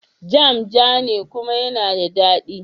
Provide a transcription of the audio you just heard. Jam jane kuma yana da dadi.